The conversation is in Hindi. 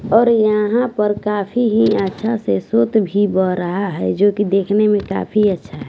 और यहाँ पर काफी ही अच्छा से सोत भी बह रहा है जो कि देखने में काफी अच्छा है।